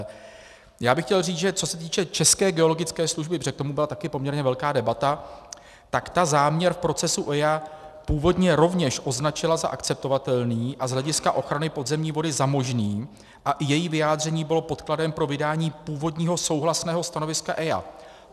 Já bych chtěl říct, že co se týče České geologické služby, protože k tomu byla také poměrně velká debata, tak ta záměr procesu EIA původně rovněž označila za akceptovatelný a z hlediska ochrany podzemní vody za možný a i její vyjádření bylo podkladem pro vydání původního souhlasného stanoviska EIA.